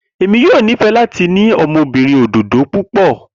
Emi yoo nifẹ lati ni awọn ọmọbirin ododo pupọ.